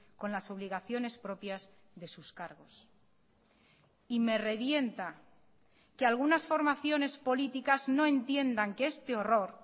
con las obligaciones propias de sus cargos y me revienta que algunas formaciones políticas no entiendan que este horror